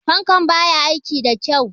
Fankan ba ya aiki da kyau.